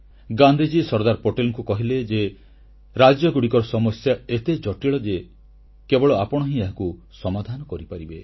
ଗାନ୍ଧିଜୀ ସର୍ଦ୍ଦାର ପଟେଲଙ୍କୁ କହିଲେ ଯେ ରାଜ୍ୟଗୁଡ଼ିକର ସମସ୍ୟା ଏତେ ଜଟିଳ ଯେ କେବଳ ଆପଣ ହିଁ ଏହାକୁ ସମାଧାନ କରିପାରିବେ